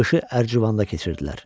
Qışı Ərcivanda keçirirdilər.